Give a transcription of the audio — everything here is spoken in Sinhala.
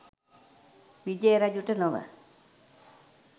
විජය රජුට නොව